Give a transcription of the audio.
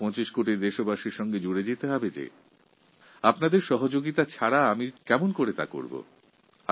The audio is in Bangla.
১২৫ কোটি দেশবাসীর কাছে আমি পৌঁছতে চাই আপনার সাহায্য ছাড়া এটা সম্ভব নয়